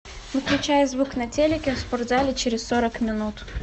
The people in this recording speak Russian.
выключай звук на телике в спортзале через сорок минут